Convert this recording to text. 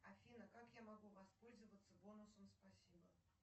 афина как я могу воспользоваться бонусом спасибо